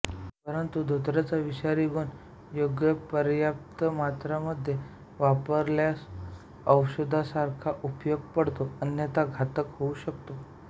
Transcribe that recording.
परंतु धोत्र्याचा विषारी गुण योग्यपर्याप्त मात्रेमध्ये वापरल्यासच औषधासारखा उपयोगी पडतो अन्यथा घातक होऊ शकतो